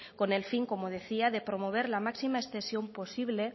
con el fin como decía de promover la máxima extensión posible